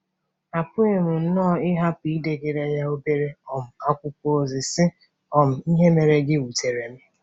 Apụghị m nnọọ ịhapụ idegara ya obere um akwụkwọ ozi, sị um: “ Ihe mere gị wutere m.